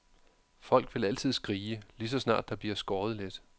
Folk vil altid skrige, lige så snart der bliver skåret lidt.